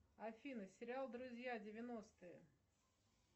афина сериал друзья девяностые